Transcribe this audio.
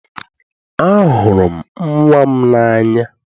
Ahụrụ m nnwa m n'anya.